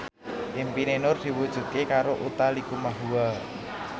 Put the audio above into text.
impine Nur diwujudke karo Utha Likumahua